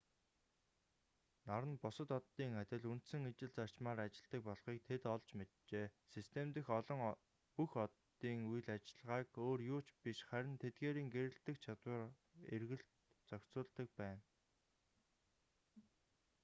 нар нь бусад оддын адил үндсэн ижил зарчмаар ажилладаг болохыг тэд олж мэджээ систем дэх бүх оддын үйл ажиллагааг өөр юу ч биш харин тэдгээрийн гэрэлтэх чадвар эргэлт зохицуулдаг байна